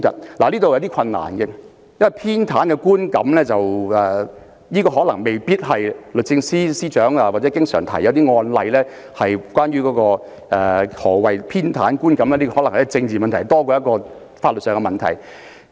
不過，這實在有些困難，因為出現偏袒觀感的個案可能未必是律政司司長經常提及的一些案例，而且偏袒觀感可能屬政治問題多於法律問題。